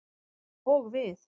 Og við.